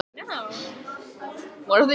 Allir springa af hlátri á eftir.